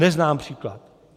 Neznám příklad.